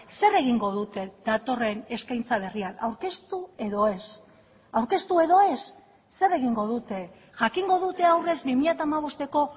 zer egingo dute datorren eskaintza berrian aurkeztu edo ez aurkeztu edo ez zer egingo dute jakingo dute aurrez bi mila hamabosteko